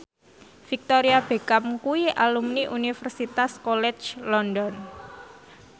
Victoria Beckham kuwi alumni Universitas College London